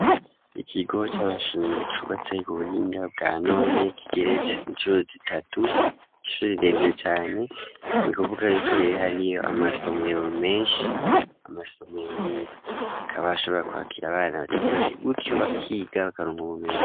Ikigo c'amashure cubatse ku buhinga bwa none kigetse incuro zitatu ishuri rirerire cane ni kuvuga yuko rere hariyo amasomero meshi amasomero rero akaba ashobora kwakira abana batari bake gutyo bakiga bakaronka ubumenyi